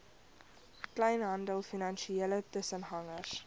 kleinhandel finansiële tussengangers